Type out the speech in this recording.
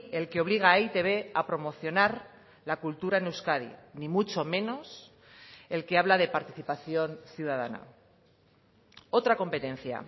el que obliga a e i te be a promocionar la cultura en euskadi ni mucho menos el que habla de participación ciudadana otra competencia